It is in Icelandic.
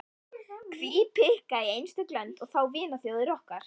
Hví pikka í einstök lönd, og þá vinaþjóðir okkar.